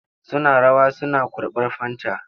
Suna rawa suna kurɓar fanta.